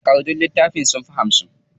Takardun littafin sunfi hamsin.